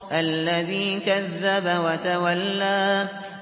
الَّذِي كَذَّبَ وَتَوَلَّىٰ